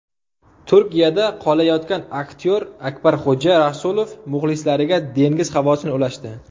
Turkiyada qolayotgan aktyor Akbarxo‘ja Rasulov muxlislariga dengiz havosini ulashdi.